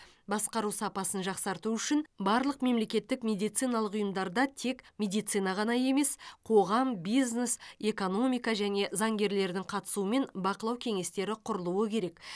басқару сапасын жақсарту үшін барлық мемлекеттік медициналық ұйымдарда тек медицина ғана емес қоғам бизнес экономика және заңгерлердің қатысуымен бақылау кеңестері құрылуы керек